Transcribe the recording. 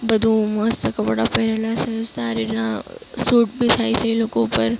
બધું મસ્ત કપડાં પહેરેલા છે સારી અ સૂટ ભી છે એ લોકા ઉપર.